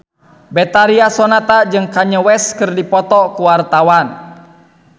Betharia Sonata jeung Kanye West keur dipoto ku wartawan